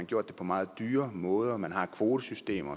gjort det på meget dyre måder man har et kvotesystem